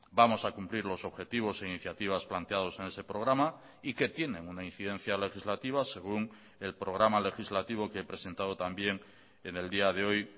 vamos a cumplir los objetivos e iniciativas planteados en ese programa y que tienen una incidencia legislativa según el programa legislativo que he presentado también en el día de hoy